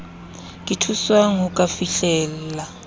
ka thuswang ho ka fihlella